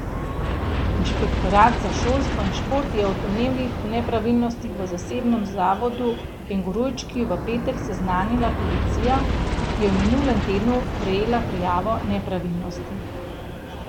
Inšpektorat za šolstvo in šport je o domnevnih nepravilnostih v zasebnem zavodu Kengurujčki v petek seznanila policija, ki je v minulem tednu prejela prijavo nepravilnosti.